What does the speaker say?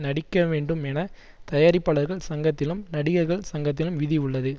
நடிக்க வேண்டும் என தயாரிப்பாளர்கள் சங்கத்திலும் நடிகர்கள் சங்கத்திலும் விதி உள்ளது